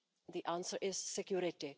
the answer is security.